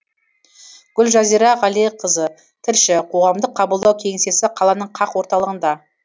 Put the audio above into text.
гүлжазира ғалиқызы тілші қоғамдық қабылдау кеңсесі қаланың қақ орталығында